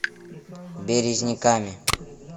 березниками